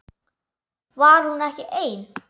Var hún ekki ein?